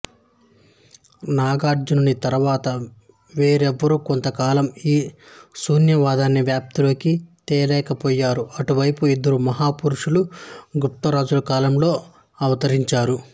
నాగార్జునుని తరువాత వేరెవ్వరూ కొంతకాలం ఈ శూన్యవాదాన్ని వ్యాప్తిలోకి తేలేకపోయారు అటుపై ఇద్దరు మహాపురుషులు గుప్తరాజుల కాలంలో అవతరించారు